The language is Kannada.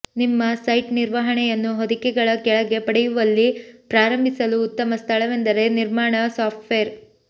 ನಿಮ್ಮ ಸೈಟ್ ನಿರ್ವಹಣೆಯನ್ನು ಹೊದಿಕೆಗಳ ಕೆಳಗೆ ಪಡೆಯುವಲ್ಲಿ ಪ್ರಾರಂಭಿಸಲು ಉತ್ತಮ ಸ್ಥಳವೆಂದರೆ ನಿರ್ಮಾಣ ಸಾಫ್ಟ್ವೇರ್